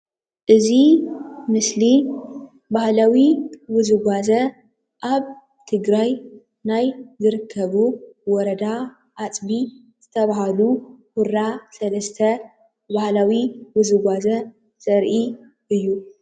እዚ ምስሊ ባህላዊ ውዝዋዜ አብ ትግራይ ናይ ዝርከቡ ወረዳ አፅቢ ዝተበሃሉ ሁራ ሰለስተ ባህላዊ ውዝዋዜ ዘሪኢ እዩ፡፡